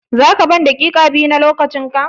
Za ka ban daƙiƙa biyu na lokacin ka?